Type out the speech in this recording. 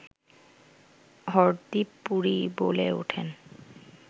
হরদীপ পুরী বলে ওঠেন